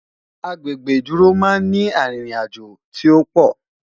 Agbègbè ìdúró má n ni àrin rìn àjọ tí òpò